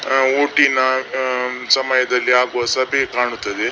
ಆ ಓಟಿನ ಸಮಯದಲ್ಲಿ ಆಗುವ ಸಭೆ ಕಾಣುತ್ತದೆ.